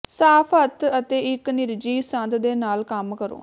ਸਾਫ ਹੱਥ ਅਤੇ ਇੱਕ ਨਿਰਜੀਵ ਸੰਦ ਦੇ ਨਾਲ ਕੰਮ ਕਰੋ